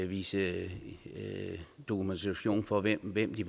vise dokumentation for hvem hvem de